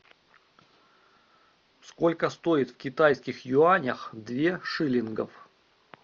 сколько стоит в китайских юанях две шиллингов